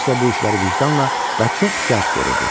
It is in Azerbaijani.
O isə bu işləri vicdanla və çox cəhd görürdü.